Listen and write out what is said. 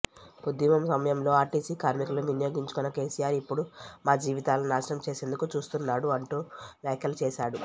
ఉద్యమం సమయంలో ఆర్టీసీ కార్మికులను వినియోగించుకున్న కేసీఆర్ ఇప్పుడు మా జీవితాలను నాశనం చేసేందుకు చూస్తున్నడు అంటూ వ్యాఖ్యలు చేశాడు